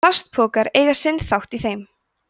plastpokar eiga sinn þátt í þeim